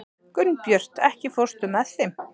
Gunnbjört, ekki fórstu með þeim?